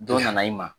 Dɔ nana i ma